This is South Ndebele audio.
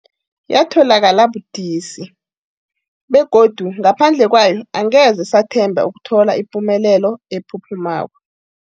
Yatholakala budisi, begodu ngaphandle kwayo angeze sathemba ukuthola ipumelelo ephuphumako.